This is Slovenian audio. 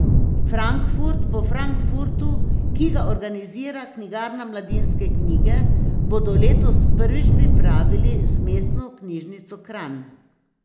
Frankfurt po Frankfurtu, ki ga organizira knjigarna Mladinske knjige, bodo letos prvič pripravili z Mestno knjižnico Kranj.